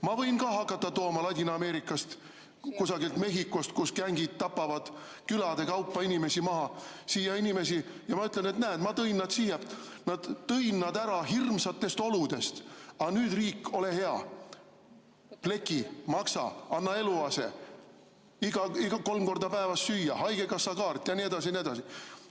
Ma võin ka hakata tooma Ladina-Ameerikast, kusagilt Mehhikost, kus gängid tapavad külade kaupa inimesi maha, siia inimesi ja öelda, et näed, ma tõin nad siia, tõin nad ära hirmsatest oludest, aga nüüd, riik, ole hea, pleki, maksa, anna eluase, kolm korda päevas süüa, haigekassakaart ja nii edasi ja nii edasi.